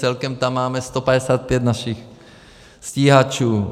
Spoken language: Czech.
Celkem tam máme 155 našich stíhačů.